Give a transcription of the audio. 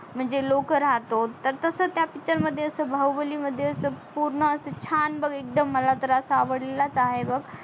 म्हणजे लोक राहतो तस तास त्या picture मध्ये बाहुबली मध्ये अस पूर्ण अस छान बग एकदम मला तर अस आवडलेलाच आहे बग